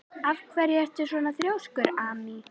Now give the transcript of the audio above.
Af hverju ertu svona þrjóskur, Amý?